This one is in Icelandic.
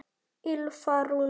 Ylfa Rún.